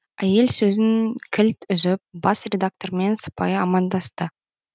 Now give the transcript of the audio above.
әйел сөзін кілт үзіп бас редактормен сыпайы амандасты